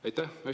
Aitäh!